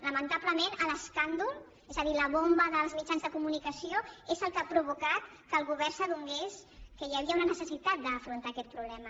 lamentablement l’escàndol és a dir la bomba dels mitjans de comunicació és el que ha provocat que el govern s’adonés que hi havia una necessitat d’afrontar aquest problema